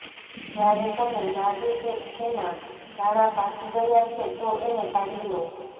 જ્યારે તમને લાગે કે એના દાણા પાકી ગયા છે તો એને કાઢી લો